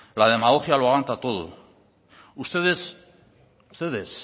la demagogia lo aguanta todo ustedes ustedes